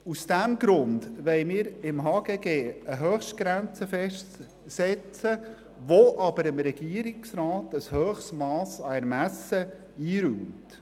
Aus diesem Grund wollen wir im HGG eine Höchstgrenze festsetzen, die dem Regierungsrat aber einen grossen Ermessensspielraum belässt.